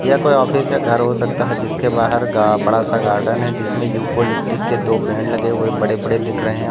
यह कोई ऑफिस या घर हो सकता है जिसके बाहर गा बड़ा सा गार्डेन है जिसमे युकोलिप्टिस के दो पेड़ लगे हुए बड़े बड़े दिख रहे है और--